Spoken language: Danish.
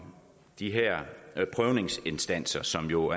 de her prøvningsinstanser som jo